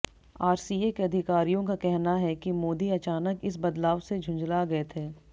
RCA के अधिकारियों का कहना है कि मोदी अचानक इस बदलाव से झुंझला गए थे